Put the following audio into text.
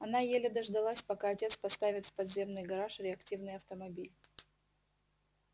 она еле дождалась пока отец поставит в подземный гараж реактивный автомобиль